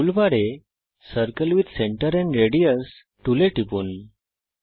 টুলবারে circle with centre and radius টুলে টিপুন